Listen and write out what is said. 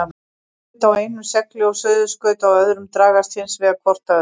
Norðurskaut á einum segli og suðurskaut á öðrum dragast hins vegar hvort að öðru.